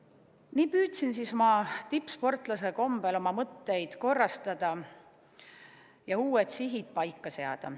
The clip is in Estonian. Nii ma siis püüdsin tippsportlase kombel oma mõtteid korrastada ja uued sihid paika seada.